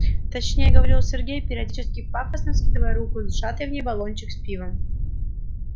точнее говорил сергей периодически пафосно вскидывая руку с зажатой в ней банкой с пивом